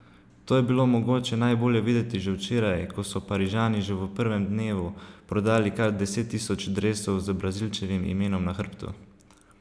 To je bilo mogoče najbolje videti že včeraj, ko so Parižani že v prvem dnevu prodali kar deset tisoč dresov z Brazilčevim imenom na hrbtu.